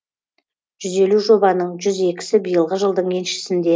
жүз елу жобаның жүз екісі биылғы жылдың еншісінде